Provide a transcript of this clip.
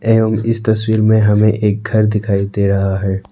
एवं इस तस्वीर में हमें एक घर दिखाई दे रहा है।